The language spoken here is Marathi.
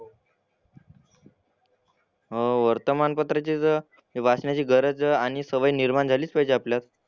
हो वर्तमानपत्राची तर हे वाचण्याची गरज नि सवय निर्माण झालीच पाहिजे आपल्यात.